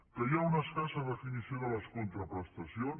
que hi ha una escassa definició de les contraprestacions